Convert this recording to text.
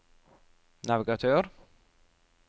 navigatør